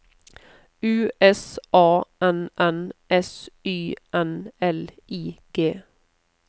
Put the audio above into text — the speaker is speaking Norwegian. U S A N N S Y N L I G